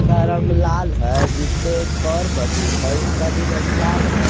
का रंग लाल है जिस पे एक और मशीन है उसका भी रंग लाल है।